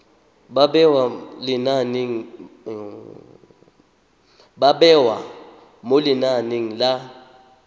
ba bewa mo lenaneng la